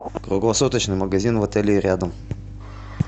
круглосуточный магазин в отеле и рядом